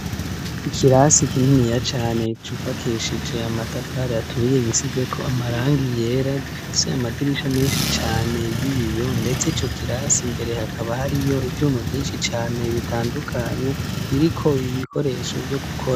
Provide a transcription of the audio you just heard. Ikirasi kininiya cane cufakeshije amatafaraturiye gisize ko amarangi yera gifise amadirisha menshi cane y'ibiyo ndetse ico kirasi mbere hakaba hari yo ivyuma vyinshi cane bitanduka biriko ibikoresho byo gukora.